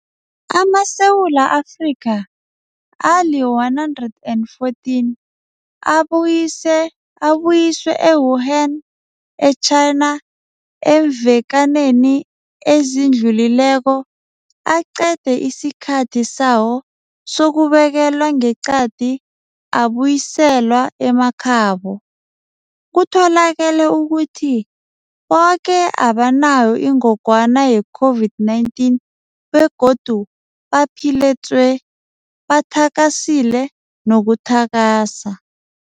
AmaSewula Afrika ali-114 abuyiswe e-Wuhan e-China eemvekaneni ezidlulileko aqede isikhathi sawo sokubekelwa ngeqadi abuyiselwa emakhabo. Kutholakele ukuthi boke abanayo ingogwana ye-COVID-19 begodu baphile tswe, bathakasile nokuthakasa.